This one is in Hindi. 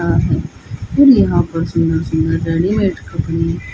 और यहां पर सुना सुना गाड़ी लटका पड़ी हैं।